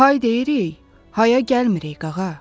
Hay deyirik, haya gəlmirik qağa.